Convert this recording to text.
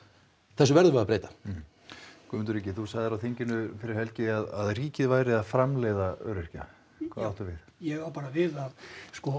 þessu verðum við að breyta Guðmundur Ingi þú sagðir á þinginu fyrir helgi að ríkið væri að framleiða öryrkja hvað áttu við ég á bara við að sko